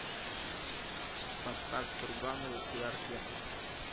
поставь сурганову и оркестр